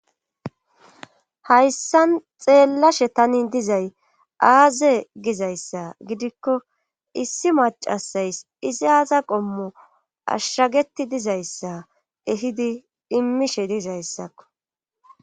hayssan xeellashe tanin dizay aaze gizayssa gidikko issi macasays izi aaza qommo ashshageti dizayssa ehidi dhimishe dizayssakko